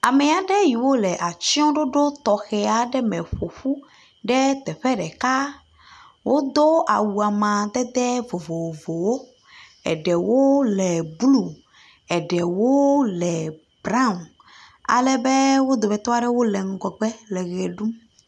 Ame aɖe yiwo le atsyɔɖoɖo tɔxɛ aɖe me ƒo ƒu ɖe teƒe ɖeka, wodo awu amdede vovovowo, eɖewo le blu, eɖewo le braw, alebe wo dometɔ aɖewo le ŋgɔgbe le ʋe ɖum.